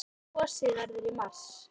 Kosið verður í mars.